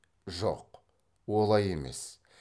жоқ олай емес